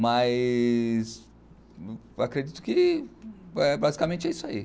Mas acredito que basicamente é isso aí.